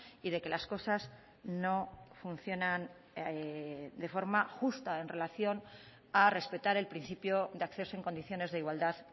y de que las cosas no funcionan de forma justa en relación a respetar el principio de acceso en condiciones de igualdad